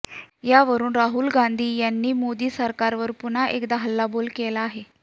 यावरून राहुल यांनी मोदी सरकारवर पुन्हा एकदा हल्लाबोल केला आहे